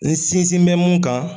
N sinzin bɛ mun kan